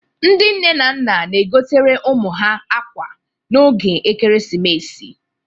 Ndị nne na nna na-egotere ụmụ ha akwa n'oge ekeresimesi